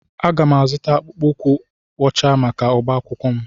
Aga m-azụta akpụkpọ ụkwụ ọcha maka agbamakwụkwọ m.